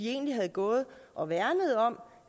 egentlig havde gået og værnet om